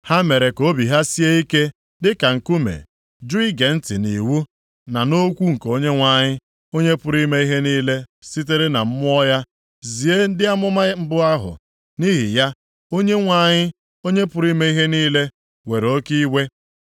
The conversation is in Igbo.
Ha mere ka obi ha sie ike dịka nkume, jụ ige ntị nʼiwu, na nʼokwu nke Onyenwe anyị, Onye pụrụ ime ihe niile sitere na Mmụọ ya zie ndị amụma mbụ ahụ. Nʼihi ya, Onyenwe anyị, Onye pụrụ ime ihe niile were oke iwe.